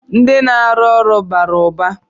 Ndị na-arụ ụlọ bara ụba.